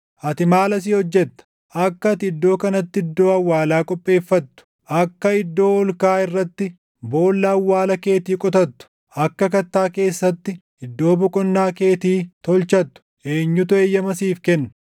Ati maal asii hojjetta? Akka ati iddoo kanatti iddoo awwaalaa qopheeffattu, akka iddoo ol kaʼaa irratti boolla awwaala keetii qotattu, akka kattaa keessatti iddoo boqonnaa keetii tolchattu // eenyutu eeyyama siif kenne?